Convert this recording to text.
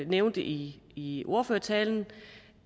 nævnte i i ordførertalen